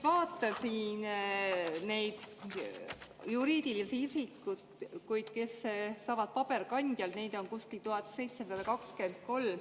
Vaatasin neid juriidilisi isikuid, kes saavad paberkandjal, neid on kuskil 1723.